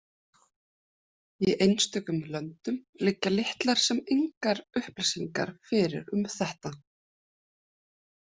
Í einstökum löndum liggja litlar sem engar upplýsingar fyrir um þetta.